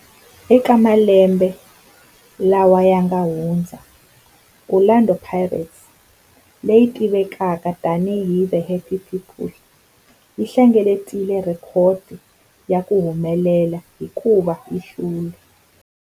Eka malembe lawa yanga hundza, Orlando Pirates, leyi tivekaka tani hi 'The Happy People', yi hlengeletile rhekhodo ya ku humelela hikuva yi hlule